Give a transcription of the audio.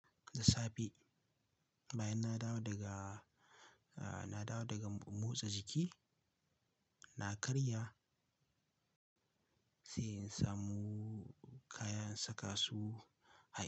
Da safe, bayan na dawo daga, uh, na dawo daga motsa jiki, na karya sai in samu kayan saka su har.